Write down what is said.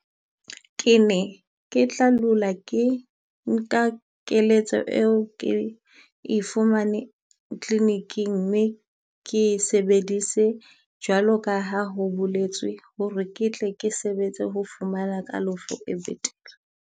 Ke ne ke tla lula ke nka keletso eo ke e fumane clinic-ing, mme ke e sebedise jwaloka ha ho boletswe ho re ke tle ke sebetse ho fumana kalafo e betere.